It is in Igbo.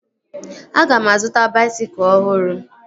Aga m azụta baisikụl ọhụrụ